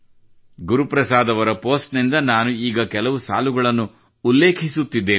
ಗುರುಪ್ರಸಾದ್ ಅವರ ಪೋಸ್ಟ್ ನಿಂದ ನಾನು ಈಗ ಕೆಲವು ಸಾಲುಗಳನ್ನು ಉಲ್ಲೇಖಿಸುತ್ತಿದ್ದೇನೆ